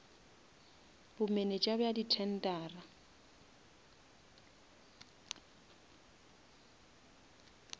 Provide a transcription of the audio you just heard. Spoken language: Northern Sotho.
bomenetša bja di tendera